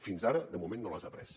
fins ara de moment no les ha pres